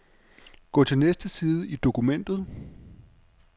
Gå til næste side i dokumentet.